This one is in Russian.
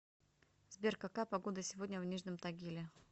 сбер какая погода сегодня в нижнем тагиле